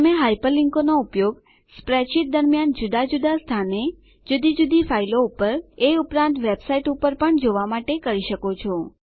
તમે હાયપરલીંકોનો ઉપયોગ સ્પ્રેડશીટ દરમ્યાન જુદા જુદા સ્થાને જુદી જુદી ફાઈલો પર એ ઉપરાંત વેબ સાઈટો પર પણ જવા માટે કરી શકો છો